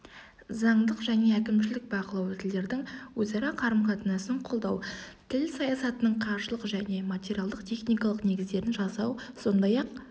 заңдық және әкімшілік бақылау тілдердің өзара қарым-қатынасын қолдау тіл саясатының қаржылық және материалдық-техникалық негіздерін жасау сондай-ақ